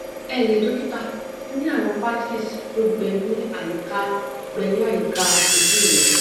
enle dókítà mo ní àwọn patches tó gbẹ ní àyíká gbẹ ní àyíká ojú mi